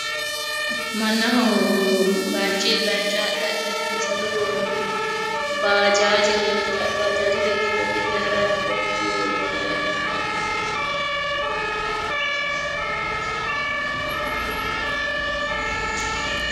Mannaho bayichunni bayicho haadhe hadhanni sasu goommi bajaaje leeltaae bajaajere giddo gidde harayi noo beettino leellaae.